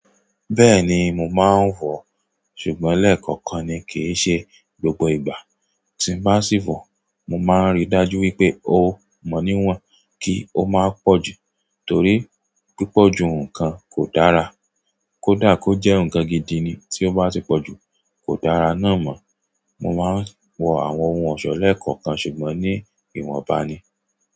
Bẹ́ẹ̀ni mo maa n wo, ṣùgbọ́n lekookan ni kii se gbogbo ìgbà tí mo bá sì wọ̀, mo máa ń ríi dájú wípé ó mọ níwọ̀n kí ó má pọ̀jù torí pípọ̀jù nǹkan kò dára. Kódà kó jẹ́ nǹkan gidi ni tí ó bá ti pọ̀jù, kò dára náà mọ̀. Mo máa ń wọ àwọn ohun ọ̀ṣọ́ lẹ́ẹ̀kọ̀kan ṣùgbọ́n ní ìwọ̀nba ni.